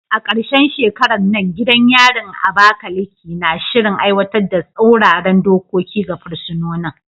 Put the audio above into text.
A karshen shekarar nan, gidan yarin Abakaleke na shirin aiwatar da tsauraran dokoki ga fursunonin.